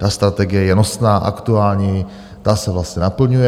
Ta strategie je nosná, aktuální, ta se vlastně naplňuje.